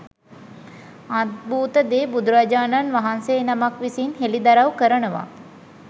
අද්භූත දේ බුදුරජාණන් වහන්සේ නමක් විසින් හෙළිදරව් කරනවා.